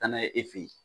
Taa n'a ye e fe yen